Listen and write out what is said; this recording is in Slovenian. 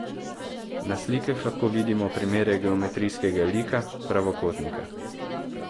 Na slikah lahko vidimo primere geometrijskega lika, pravokotnika.